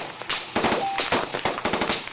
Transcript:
Tólf slagir.